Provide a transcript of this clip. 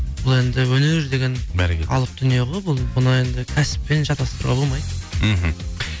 бұл енді өнер деген алып дүние ғой бұл бұны енді кәсіппен шатаструға болмайды мхм